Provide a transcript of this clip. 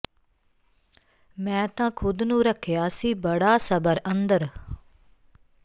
ਮੈਂ ਤਾਂ ਖੁਦ ਨੂੰ ਰੱਖਿਆ ਸੀ ਬੜਾ ਸਬਰ ਅੰਦਰ